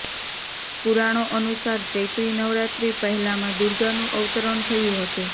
પુરાણો અનુસાર ચૈત્રી નવરાત્રી પહેલા મા દુર્ગાનું અવતરણ થયું હતું